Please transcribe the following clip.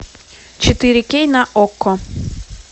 четыре кей на окко